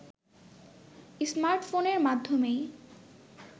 স্মার্টফোনের মাধ্যমেই